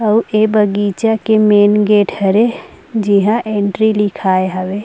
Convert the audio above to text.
और ए बगीचा के मेन गेट हरे जेहा एंट्री लिखाय हवे।